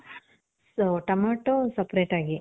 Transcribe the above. so, tomato separate ಆಗಿ.